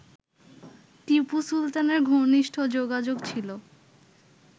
টিপু সুলতানের ঘনিষ্ঠ যোগাযোগ ছিল